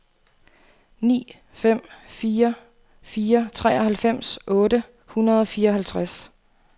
ni fem fire fire treoghalvfems otte hundrede og fireoghalvtreds